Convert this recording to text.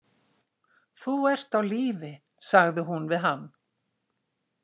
Þú ert á lífi sagði hún við hann.